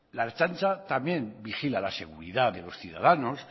la ertzaintza también vigila la seguridad de los ciudadanos